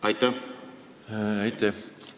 Aitäh!